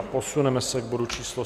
A posuneme se k bodu číslo